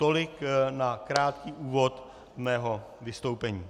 Tolik na krátký úvod mého vystoupení.